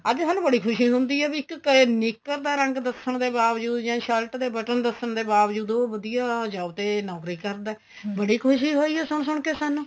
ਅੱਜ ਸਾਨੂੰ ਬੜੀ ਖੁਸ਼ੀ ਹੁੰਦੀ ਏ ਬੀ ਇੱਕ ਕਏ ਨਿਕਰ ਦਾ ਰੰਗ ਦੱਸਣ ਦੇ ਬਾਵਜੂਦ ਜਾਂ shirt ਦੇ button ਦੱਸਣ ਦੇ ਬਾਵਜੂਦ ਉਹ ਵਧੀਆ job ਤੇ ਨੋਕਰੀ ਕਰਦਾ ਬੜੀ ਖੁਸ਼ੀ ਹੋਈ ਹੈ ਸੁਣ ਸੁਣ ਕੇ ਸਾਨੂੰ